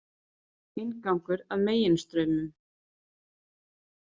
„Inngangur að Meginstraumum.“